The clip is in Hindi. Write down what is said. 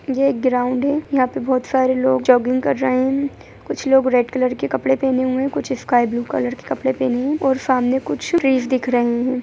ये एक ग्राउन्ड है यहाँ पे बहुत सारे लोग जॉगिंग कर रहे है कुछ लोग रेड कलर के कपड़े पहने हुए है कुछ स्काय ब्ल्यू कलर के कपड़े पहने है और सामने कुछ ट्रीज दिख रहे है।